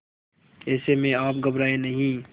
ऐसे में आप घबराएं नहीं